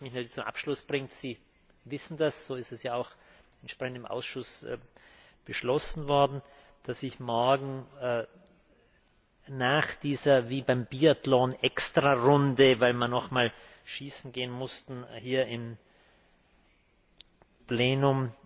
Was mich zum Abschluss bringt Sie wissen das, so ist es ja auch entsprechend im Ausschuss beschlossen worden dass ich morgen nach dieser wie beim Biathlon Extrarunde, weil wir noch mal schießen gehen mussten, hier im Plenum